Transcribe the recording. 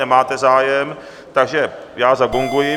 Nemáte zájem, takže já zagonguji.